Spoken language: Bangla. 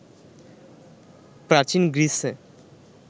প্রাচীন গ্রীসে